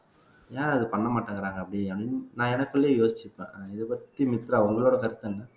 ஏன் அத பண்ண மாட்டேங்கிறாங்க அப்படின்னு நான் எனக்குள்ளயே யோசிச்சுப்பேன் இதைப்பத்தி மித்ரா உங்களோட கருத்து என்ன